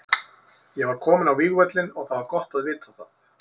Ég var kominn á vígvöllinn og það var gott að vita það.